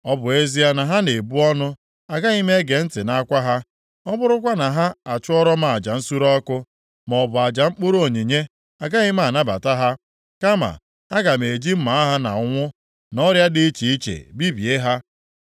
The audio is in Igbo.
Ọ bụ ezie na ha na-ebu ọnụ, agaghị m ege ntị nʼakwa ha; ọ bụrụkwa na ha achụọrọ m aja nsure ọkụ, maọbụ aja mkpụrụ onyinye, agaghị m anabata ha. Kama, aga m eji mma agha na ụnwụ, na ọrịa dị iche iche bibie ha.”